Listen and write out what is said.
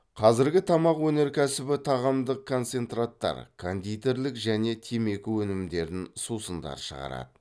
қазіргі тамақ өнеркәсібі тағамдық концентраттар кондитерлік және темекі өнімдерін сусындар шығарады